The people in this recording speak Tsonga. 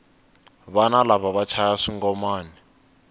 vana lava va chaya swingomani